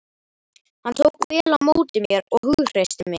Hann tók vel á móti mér og hughreysti mig.